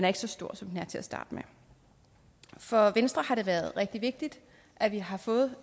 ikke så stor som den er til at starte med for venstre har det været rigtig vigtigt at vi har fået